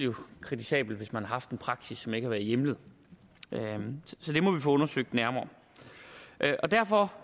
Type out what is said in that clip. kritisabelt hvis man har haft en praksis som ikke har været hjemlet så det må vi få undersøgt nærmere derfor